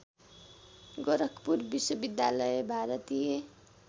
गोरखपुर विश्वविद्यालय भारतीय